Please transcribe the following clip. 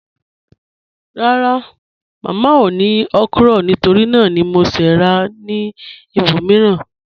Rárá, Mámá ò ní okra nítorí nàà ni mò ṣè rà ní ìbòmíìran.